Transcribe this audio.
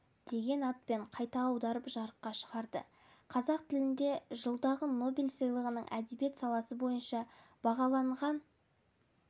деген атпен қайта аударып жарыққа шығарды қазақ тілінде жылдағы нобель сыйлығының әдебиет саласы бойынша бағаланған